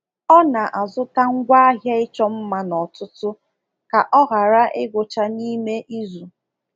Ọ na-azụta ngwaahịa ịchọ mma n'ọtụtụ ka ọ ghara igwucha n’ime izu.